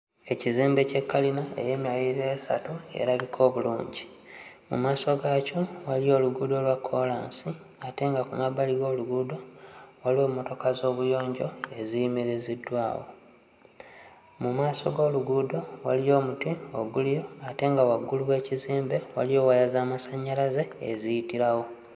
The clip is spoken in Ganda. Ekizimbe kye kkalina ey'emyaliriro esatu erabika obulungi. Mu maaso gaakyo waliyo oluguudo lwa kkoolansi ate nga ku mabbali g'oluguudo waliwo emmotoka z'obuyonjo eziyimiriziddwawo. Mu maaso g'oluguudo waliyo omuti oguliyo ate nga waggulu w'ekizimbe waliyo waya z'amasannyalaze eziyitirawo.